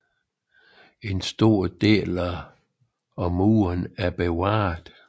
En stor del af murene er bevaret